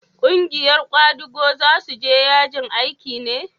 ƙungiyar kwadago za su je yajin aiki ne?